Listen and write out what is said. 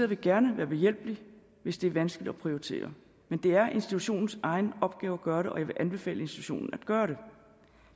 vil gerne være behjælpelig hvis det er vanskeligt at prioritere men det er institutionens egen opgave at gøre det og jeg vil anbefale institutionen at gøre det